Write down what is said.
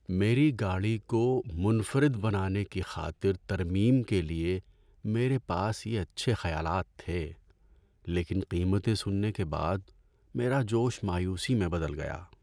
میری گاڑی کو منفرد بنانے کی خاطر ترمیم کے لیے میرے پاس یہ اچھے خیالات تھے، لیکن قیمتیں سننے کے بعد میرا جوش مایوسی میں بدل گیا۔